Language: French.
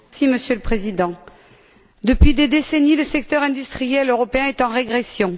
Monsieur le Président, depuis des décennies, le secteur industriel européen est en régression.